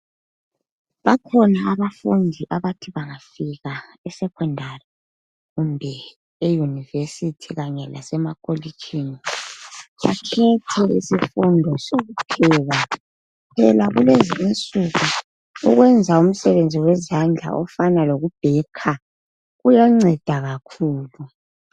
Bakhona abafundi abathi banga fika esecondary kumbe euniversity kanye lasemakolitshini bakhethe isifundo sokupheka phela kulezinsuku ukwenza umsebenzi wezandla ofana lokubaker kuyanceda kakhulu.